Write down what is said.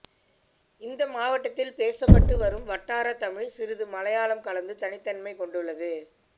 இந்த மாவட்டத்தில் பேசப்பட்டு வரும் வட்டாரத் தமிழ் சிறிது மலையாளம் கலந்து தனித்தன்மை கொண்டுள்ளது